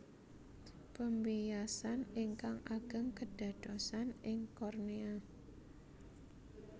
Pembiasan ingkang ageng kedadosan ing kornea